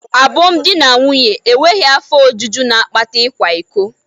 abum di na nwunye, Enweghị afọ ojuju na-akpata ịkwa iko.